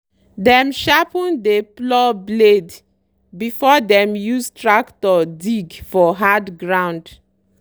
dem sharpen dey plough blade before dem use tractor dig for hard ground.